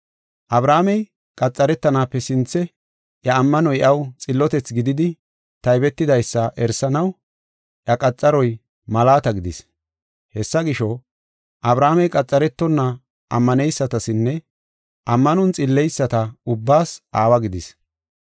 Abrahaamey qaxaretanaape sinthe iya ammanoy iyaw xillotethi gididi taybetidaysa erisanaw, iya qaxaroy malaata gidis. Hessa gisho, Abrahaamey qaxaretonna ammaneysatasinne ammanon xilleyisata ubbaas aawa gidis.